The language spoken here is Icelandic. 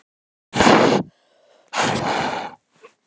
Elísabet Pétursdóttir: Við hvað?